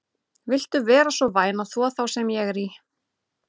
Viltu vera svo væn að þvo þá sem ég er í?